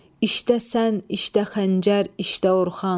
İştə sən, iştə xəncər, iştə Orxan.